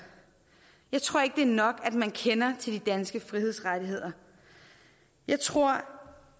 jeg tror ikke at det er nok at man kender til de danske frihedsrettigheder jeg tror